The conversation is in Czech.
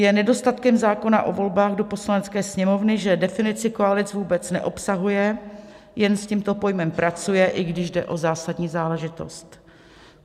Je nedostatkem zákona o volbách do Poslanecké sněmovny, že definici koalic vůbec neobsahuje, jen s tímto pojmem pracuje, i když jde o zásadní záležitost.